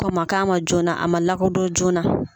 Kɔn ma k'a ma joona, a ma lakodon joona